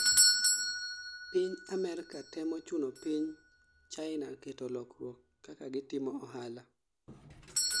piny Amerka temo chuno piny hina keto lukruok kaka gitimo ohala